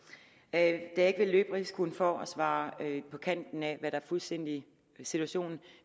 da jeg ikke vil løbe risikoen for at svare på kanten af hvad der fuldstændig er situationen